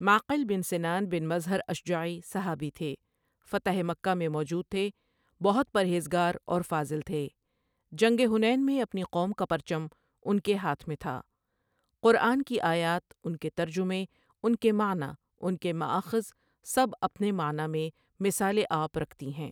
معقل بن سنان بن مظہر اشجعی صحابی تھے فتح مکہ میں موجود تھے بہت پرہیزگار اور فاضل تھے جنگ حنین میں اپنی قوم کا پرچم ان کے ہاتھ میں تھا قرآن کی آیات اُن کی ترجمے اُن کے معنیٰ اُن کے مأخذ سب اپنے معنیٰ میں مِثال آپ رکھتی ہیں ۔